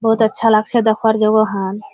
बहोत अच्छा लागछे देखवार जोगो खान।